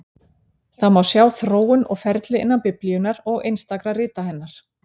Það má sjá þróun og ferli innan Biblíunnar og einstakra rita hennar.